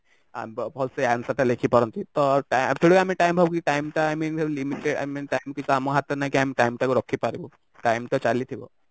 ଭଲସେ answer ଟା ଲେଖି ପାରନ୍ତି ତ ଥୋଡି ନା ଆମେ time ଭାବୁ କି time ଟା i mean limited i mean time କିସ ଆମ ହାତରେ ନାଇଁ କି ଆମେ time ଟାକୁ ରଖି ପାରିବୁ ଟାଇମ ତ ଚାଲିଥିବ